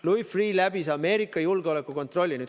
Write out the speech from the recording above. Louis Freeh läbis Ameerika julgeolekukontrolli.